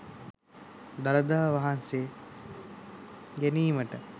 දළදා වහන්සේ ගැනීමට